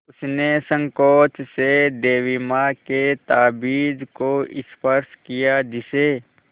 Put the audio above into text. उसने सँकोच से देवी माँ के ताबीज़ को स्पर्श किया जिसे